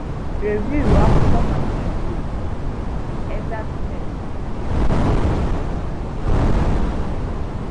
Rèvìù akwụkwọ maka izù okè, èxàctnèss, na ime na iwu.